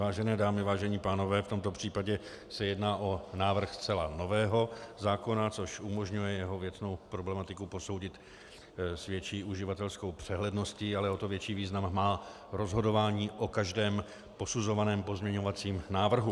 Vážené dámy, vážení pánové, v tomto případě se jedná o návrh zcela nového zákona, což umožňuje jeho věcnou problematiku posoudit s větší uživatelskou přehledností, ale o to větší význam má rozhodování o každém posuzovaném pozměňovacím návrhu.